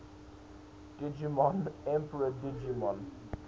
digimon emperor digimon